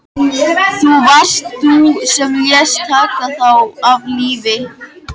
Það varst þú sem lést taka þá af lífi.